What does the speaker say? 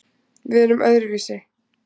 Við erum öðruvísi